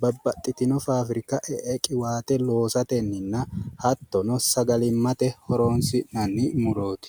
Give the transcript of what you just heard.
babbaxxitino faafirika e'e qiwaate loosatenninna hattono sagalimmate horoonsi'nanni murooti.